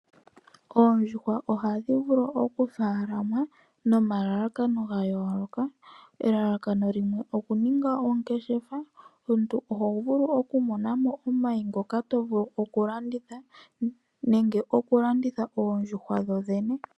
Oondjuhwa ohadhi vulu okutekulwa nomalalakano gayooloka. Elalakano limwe okuninga oongeshefa oho vulu okulanditha omayi, nenge oondjuhwa dho ndhene.